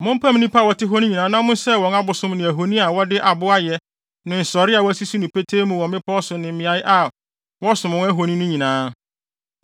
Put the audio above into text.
mompam nnipa a wɔte hɔ no nyinaa na monsɛe wɔn abosom ne ahoni a wɔde abo ayɛ ne nsɔree a wɔasisi no petee mu wɔ mmepɔw so ne mmeae a wɔsom wɔn ahoni no nyinaa.